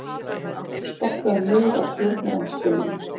Sparkaður niður af stjórnarandstöðunni